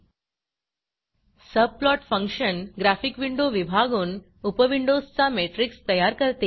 subplot function graphic window विभागून उपविंडोजचा matrix तयार करते